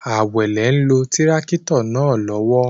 Awele n lo tirakito naa lowo